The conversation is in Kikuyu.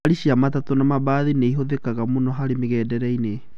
Ngari cĩa matatũ na mabathi nĩ ihũthĩkaga mũno harĩ mĩgendereinĩ.